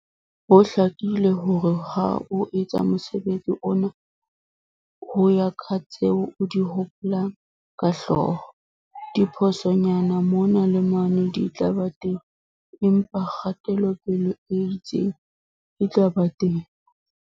Ho hlakile hore ha o etsa mosebetsi ona ho ya ka tseo o di hopolang ka hloho, diphosonyana mona le mane di tla ba teng, empa kgatelopele e itseng e tla ba teng.